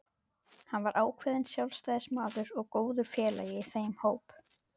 Hann var ákveðinn sjálfstæðismaður og góður félagi í þeim hópi.